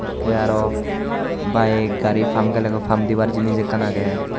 Tay aro bike gari pam gelegoi pam dibar jinis ekkan age.